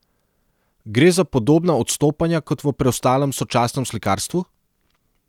Gre za podobna odstopanja kot v preostalem sočasnem slikarstvu?